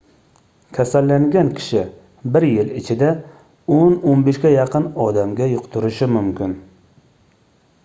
kasallangan kishi bir yil ichida 10-15 ga yaqin odamga yuqtirishi mumkin